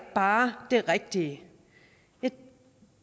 bare det rigtige